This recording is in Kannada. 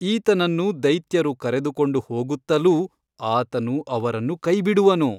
ಈತನನ್ನು ದೈತ್ಯರು ಕರೆದುಕೊಂಡು ಹೋಗುತ್ತಲೂ ಆತನು ಅವರನ್ನು ಕೈಬಿಡುವನು.